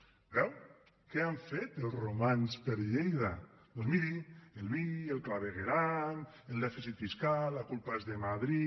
ho veu què han fet els romans per lleida doncs miri el vi el clavegueram el dèficit fiscal la culpa és de madrid